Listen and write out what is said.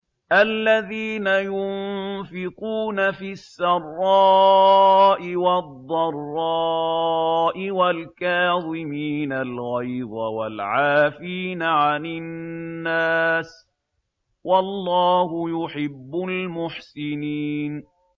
الَّذِينَ يُنفِقُونَ فِي السَّرَّاءِ وَالضَّرَّاءِ وَالْكَاظِمِينَ الْغَيْظَ وَالْعَافِينَ عَنِ النَّاسِ ۗ وَاللَّهُ يُحِبُّ الْمُحْسِنِينَ